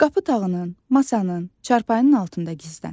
Qapı tağının, masanın, çarpayının altında gizlən.